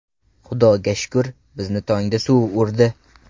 Xudoga shukr, bizni tongda suv urdi.